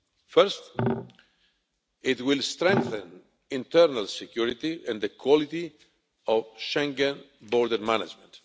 First, it will strengthen internal security and the quality of Schengen border management.